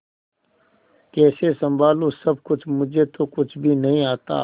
कैसे संभालू सब कुछ मुझे तो कुछ भी नहीं आता